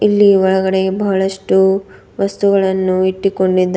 ಇಲ್ಲಿ ಒಳಗಡೆ ಬಹಳಷ್ಟು ವಸ್ತುಗಳನ್ನು ಇಟ್ಟಿಕೊಂಡಿದ್ದಾ--